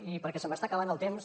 i perquè se m’està acabant el temps